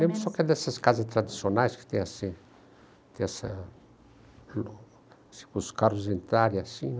Lembro só que é dessas casas tradicionais que tem assim, tem essa... se os carros entrarem assim, né?